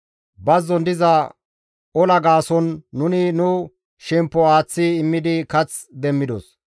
Bazzon diza ola gaason nuni nu shemppo aaththi immidi kath demmidos.